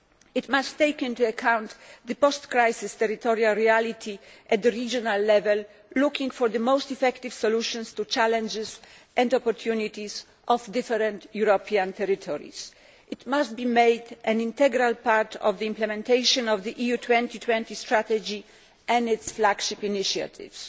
It must take into account the post crisis territorial reality at regional level, looking for the most effective solutions to the challenges and opportunities of different European territories. It must be made an integral part of the implementation of the EU 2020 strategy and its flagship initiatives.